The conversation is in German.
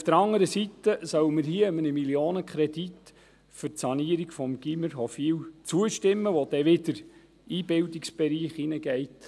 Auf der anderen Seite sollen wir hier einem Millionenkredit für die Sanierung des Gymnasiums Hofwil zustimmen, was wiederum in den Bildungsbereich fällt.